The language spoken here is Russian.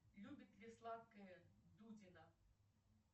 любит ли сладкое дудина